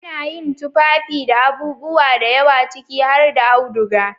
Ana yin tufafi daga abubuwa da yawa ciki har da auduga.